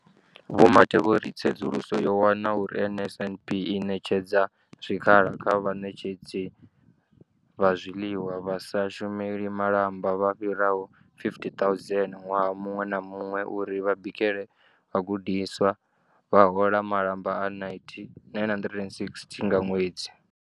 Vho Mathe vho ri tsedzuluso yo wana uri NSNP i ṋetshedza zwikhala kha vhaṋetshedzi vha zwiḽiwa vha sa shumeli malamba vha fhiraho 50 000 ṅwaha muṅwe na muṅwe uri vha bikele vhagudiswa, vha hola malamba a R960 nga ṅwedzi.